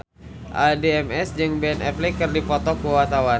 Addie MS jeung Ben Affleck keur dipoto ku wartawan